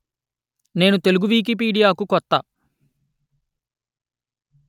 నేను తెలుగు వికిపీడియా కు కొత్త